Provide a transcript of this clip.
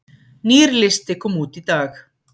Nýr listi kom út í dag